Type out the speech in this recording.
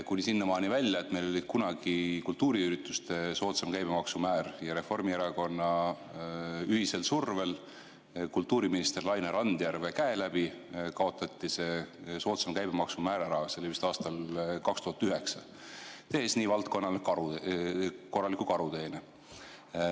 Kuni sinnamaani välja, et meil oli kunagi kultuuriüritustel soodsam käibemaksumäär ja Reformierakonna survel kultuuriminister Laine Randjärve käe läbi kaotati see soodsam käibemaksumäär ära, see oli vist aastal 2009, tehes nii valdkonnale korraliku karuteene.